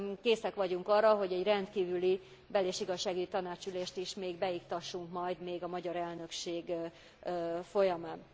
Készek vagyunk arra, hogy egy rendkívüli Bel és Igazságügyi Tanácsülést is még beiktassunk majd a magyar elnökség folyamán.